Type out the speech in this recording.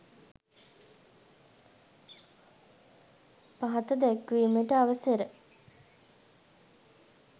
පහත දැක්වීමට අවසර